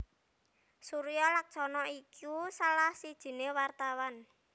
Suryo Laksono iku salah sijiné wartawan